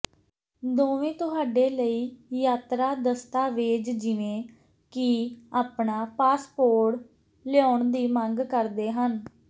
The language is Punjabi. ਦੋਵੇਂ ਤੁਹਾਡੇ ਲਈ ਯਾਤਰਾ ਦਸਤਾਵੇਜ਼ ਜਿਵੇਂ ਕਿ ਆਪਣਾ ਪਾਸਪੋਰਟ ਲਿਆਉਣ ਦੀ ਮੰਗ ਕਰਦੇ ਹਨ